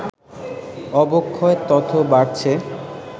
অবক্ষয় তত বাড়ছে